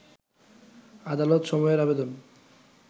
আদালত সময়ের আবেদন